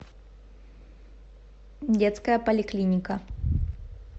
детская поликлиника